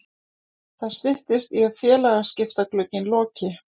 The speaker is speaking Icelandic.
Það styttist í að félagaskiptaglugginn loki.